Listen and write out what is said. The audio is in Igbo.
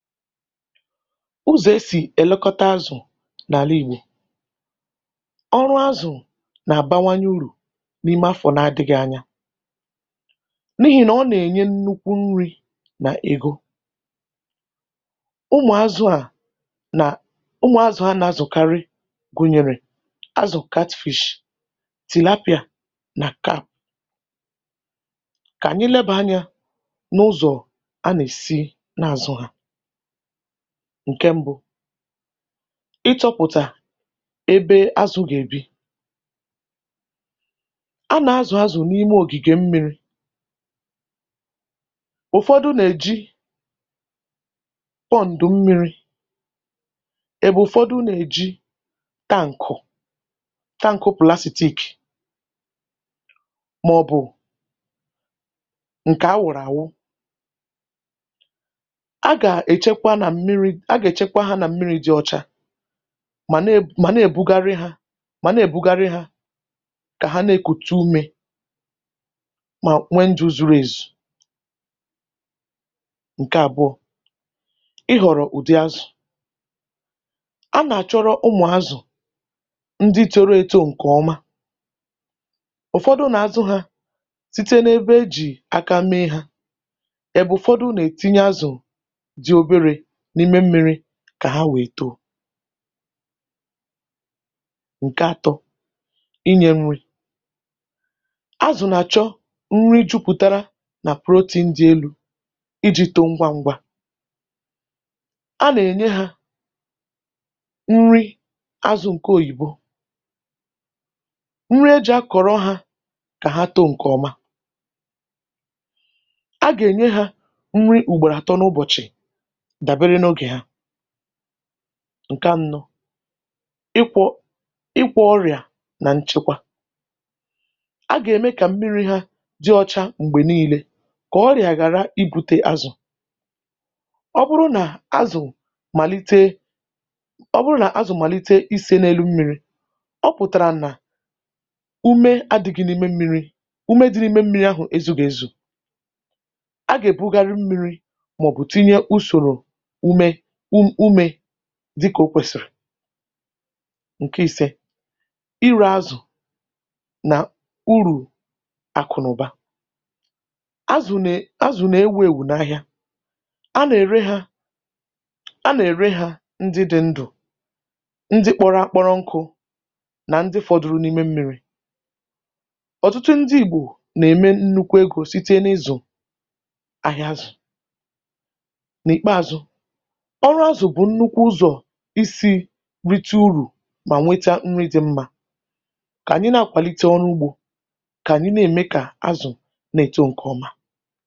Ụzọ̀ e sì èlekọta azụ̀ n’àla Igbò. Ọrụ azụ̀ nà-àbawanye urù n’ime afọ̀ n’adịgị anya n’ihì nà ọ nà-ènye nnukwu nri nà ègo. Ụmụ̀ azụ a nà ụmụ̀ azụ̀ ha nà-azụ̀karị gụnyere azụ̀ catfish, tilapia nà. Kà ànyị lebà anyȧ n’ụzọ̀ a nà-èsi na-àzụ hȧ. Ǹke mbụ, ịtọpụ̀tà ebe azụ̀ gà-èbi. A nà-azụ̀ azụ̀ n’ime ògìgè mmiri. Ụfọdụ na-èji pọǹdụ̀ mmiri, ebụ́ụfọdụ nà-èji tánkụ̀ tankụ̀ plasitiik mà ọ̀ bụ̀ ǹkè a wụ̀rụ̀ àwụ. A gà-èchekwa nà mmiri a ga-echekwa ha na mmiri dị̇ ọcha mà na-eb mà na-èbugharị hȧ mà na-èbugharị hȧ kà ha na-ékùtú ume mà nwee ndụ̀ zuru èzù. Ǹkè àbụọ, ị họ̀rọ̀ ụ̀dị azụ̀. A nà-àchọrọ ụmụ̀ azụ̀, ndị toro eto ǹkè ọma. Ụfọdụ nà-azụ hȧ site n’ebe e jì àka mee hȧ, ebe ụfọdụ na-etinye azụ ndị dị obere n'ime mmiri ka ha wee too. Ǹkè atọ, inyė nri. Azụ̀ nà-àchọ nri jupụtara nà protein dị elú, iji̇ toó ngwá ngwá. A nà ènye hȧ nri azụ̀ ǹke òyìbo. Nri ejị a kọ̀rọ hȧ kà ha too ǹkè ọma. A gà-ènye hȧ nri ùgboro àtọ n’ụbọ̀chị̀ dabeere n'oge ha. Nke anọ, ịkwọ ịgwọ ọrịà nà nchekwa. A gà-èmé kà mmiri̇ ha dị ọcha m̀gbè niile kà ọrịà ghàra igbute azụ̀. Ọ bụrụ nà azụ̀ màlitee ọ bụrụ nà azụ̀ màlite isė n’elu mmiri, ọ pụ̀tàrà nà ume adị̀gị̀ n’ime mmiri,̇ ume dị̇ n’ime mmiri̇ ahụ̀ ezùgì ezù. Á gà-èbugharị mmiri màọ̀bụ̀ tinye usòrò úmé úmē dịka o kwesịrị. Nke ise, ire azụ na uru akụnaụba. Azụ̀ na nà-éwù èwù n’ahịa. A nà-ère ha a nà- èré hȧ ndị dị̇ ndụ̀, ndị kpọrọ akpọrọ nkụ̇ nà ndị fọdụrụ n’ime mmiri.̇ Ọtụtụ ndị Igbò nà-ème nnukwu egȯ site n’ịzụ ahịa azụ̀. N’ìkpeazụ, ọrụ azụ bụ̀ nnukwu ụzọ̀ isi̇rite urù mà nweta nri dị mmȧ. Kà ànyị na-akwàlite ọrụ ugbȯ, kà ànyị na-eme kà azụ̀ nà-èto ǹkè ọma.